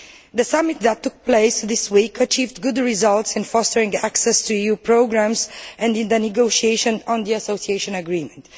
The summit that took place this week achieved good results in fostering access to EU programmes and in the negotiations on the association agreement.